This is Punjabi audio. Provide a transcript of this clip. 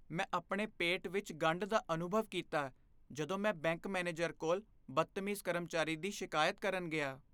ਮੈਂ ਆਪਣੇ ਪੇਟ ਵਿੱਚ ਗੰਢ ਦਾ ਅਨੁਭਵ ਕੀਤਾ ਜਦੋਂ ਮੈਂ ਬੈਂਕ ਮੈਨੇਜਰ ਕੋਲ ਬਦਤਮੀਜ਼ ਕਰਮਚਾਰੀ ਦੀ ਸ਼ਿਕਾਇਤ ਕਰਨ ਗਿਆ।